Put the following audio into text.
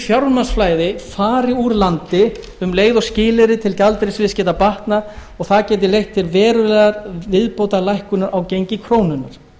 fjármagnsflæði fari úr landi um leið og skilyrði til gjaldeyrisviðskipta batna og það gæti leitt til verulegrar viðbótarlækkunar á gengi krónunnar